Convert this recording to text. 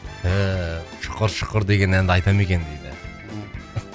ыыы шұқыр шұқыр деген әнді айта ма екен дейді